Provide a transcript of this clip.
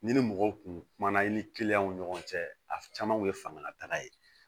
Ni ni mɔgɔw kun kumana i ni ni ɲɔgɔn cɛ a caman kun ye fangalataga ye